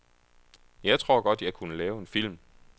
Jeg tror godt, jeg kunne lave en film.